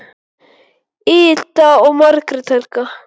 Ida og Margrét Helga.